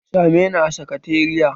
Sa me ni a sakatariya!